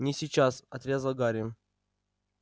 не сейчас отрезал гарри